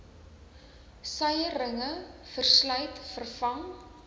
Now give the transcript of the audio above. suierringe verslyt vervang